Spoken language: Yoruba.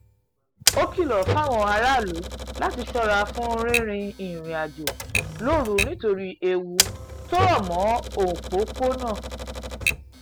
ó kìlọ̀ fáwọn aráàlú láti ṣọ́ra fún rí rìnrìn-àjò lóru nítorí ewu tó rọ̀ mọ́ ọn pọ̀ púpọ̀